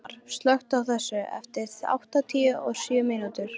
Steinar, slökktu á þessu eftir áttatíu og sjö mínútur.